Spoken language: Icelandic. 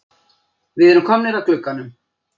Við erum komnir að glugganum.